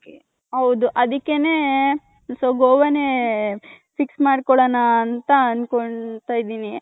ಹೌದು ಅದಿಕ್ಕೆನೆ so ಗೋವ ನೆ fix ಮಾಡ್ಕೊಳ್ಳೋಣ ಅಂತ ಅಂದ್ಕೊಂಡ್ತೈದಿನಿ.